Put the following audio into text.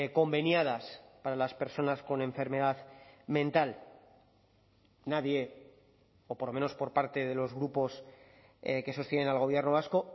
conveniadas para las personas con enfermedad mental nadie o por lo menos por parte de los grupos que sostienen al gobierno vasco